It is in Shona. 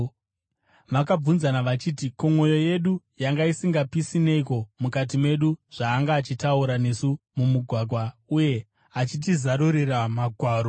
Vakabvunzana vachiti, “Ko, mwoyo yedu yanga isingapisi neiko mukati medu zvaanga achitaura nesu mumugwagwa uye achitizarurira magwaro?”